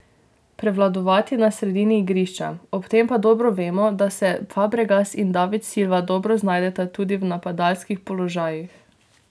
Prevladovati na sredini igrišča, ob tem pa dobro vemo, da se Fabregas in David Silva dobro znajdeta tudi v napadalskih položajih.